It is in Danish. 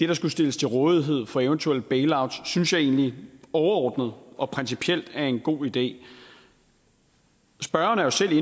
der skal stilles til rådighed for eventuel bailout synes jeg egentlig overordnet og principielt er en god idé spørgeren er selv